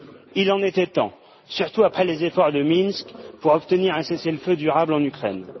Il en était temps, surtout après les efforts de Minsk pour obtenir un cessez le feu durable en Ukraine.